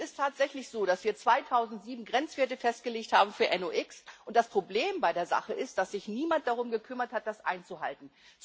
Es ist tatsächlich so, dass wir 2007 Grenzwerte für NOX festgelegt haben, und das Problem bei der Sache ist, dass sich niemand darum gekümmert hat, das einzuhalten.